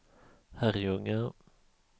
Herrljunga